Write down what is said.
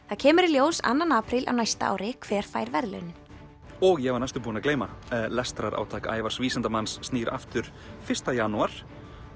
það kemur í ljós annar apríl á næsta ári hver fær verðlaunin og ég var næstum búinn að gleyma lestrarátak Ævars vísindamanns snýr aftur fyrsta janúar